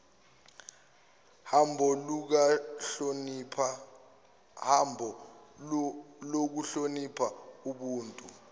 hambo lokuhlonipha ubuntu